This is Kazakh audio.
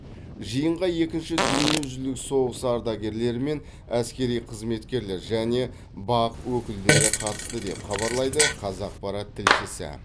жиынға екінші дүниежүзілік соғысы ардагерлері мен әскери қызметкерлер және бақ өкілдері қатысты деп хабарлайды қазақпарат тілшісі